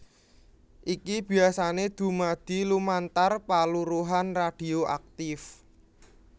Iki biyasané dumadi lumantar paluruhan radhioaktif